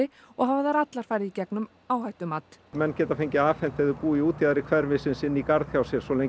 og hafa þær allar farið í gegnum áhættumat menn geta fengið afhent ef þeir búa í útjaðri hverfisins inn í garð hjá sér svo lengi